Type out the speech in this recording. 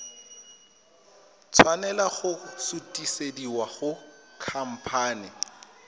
tshwanela go sutisediwa go khamphane